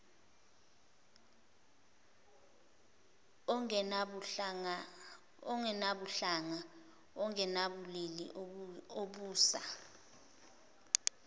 ongenabuhlanga ongenabulili obusa